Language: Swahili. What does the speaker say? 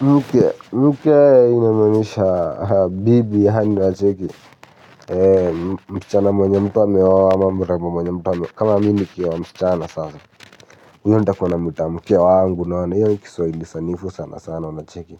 Mke, mke inamaanisha bibi yaani wacheki msichana mwenye mtu ameoa ama mrembo mwenye mtu kama mimi nikioa msichana sasa huyo ntakua namwita mke wangu unaona hiyo ni kiswahili sanifu sana sana unacheki